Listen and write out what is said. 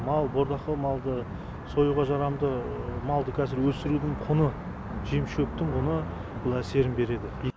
мал бордақы малды союға жарамды малды қазір өсірудің құны жем шөптің құны бұл әсерін береді